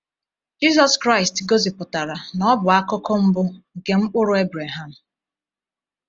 Jisus Kraịst gosipụtara na Ọ bụ akụkụ mbụ nke “mkpụrụ” Abraham.